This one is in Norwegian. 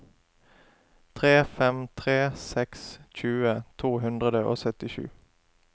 tre fem tre seks tjue to hundre og syttisju